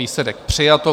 Výsledek: přijato.